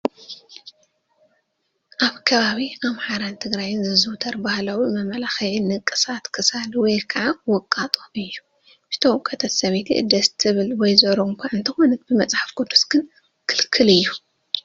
ኣብ ከባቢ ኣምሓራን ትግራይን ዝዝውተር ባህላዊ መመላኽዒ ንቅሳት ክሳድ ወይ ከዓ ውቃጦ እዩ፡፡ ዝተወቀጠት ሰበይቲ ደስ ትብል ወይዘሮ እኳ እንተኾነት ብመፅሓፍ ቅዱስ ግን ክልክል እዩ፡፡